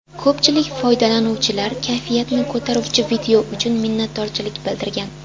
Ko‘pchilik foydalanuvchilar kayfiyatni ko‘taruvchi video uchun minnatdorchilik bildirgan.